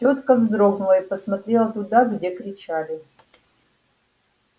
тётка вздрогнула и посмотрела туда где кричали